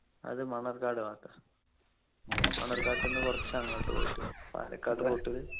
അത് മണ്ണാർക്കാട് ഭാഗത്താ മണ്ണാർക്കാട്ട് ന്നു കുറച്ചു അങ്ങോട്ട് പോയിട്ട് പാലക്കാട് route